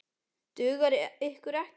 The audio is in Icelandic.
Dugar ykkur ekkert?